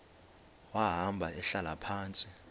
wahamba ehlala phantsi